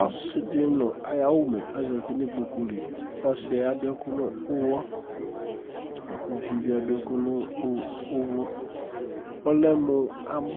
Ɔsɩ dɩ nʋ ayʋ awʋmɛ azati nʋ ikpoku li Ɔsɩ yɛ adʋ ɛkʋ nʋ ʋɣɔ la kʋ uvi yɛ bɩ adʋ ɛkʋ nʋ ʋvʋ kʋ ɔlɛ mʋ amʋ